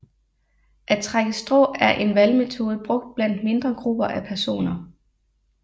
At trække strå er en valgmetode brugt blandt mindre grupper af personer